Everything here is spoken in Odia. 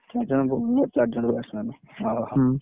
ଚାରିଜଣ bowler ଚାରିଜଣ bats man ହଉ ହଉ ।